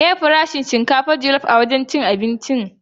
Meye farashin shinkafar jallop a wancan wurin cin abinci din?